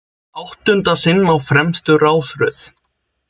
Áttunda sinn á fremstu rásröð